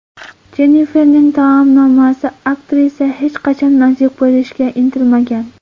Jenniferning taomnomasi Aktrisa hech qachon nozik bo‘lishga intilmagan.